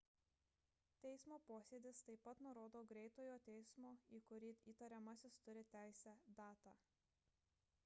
teismo posėdis taip pat nurodo greitojo teismo į kurį įtariamasis turi teisę datą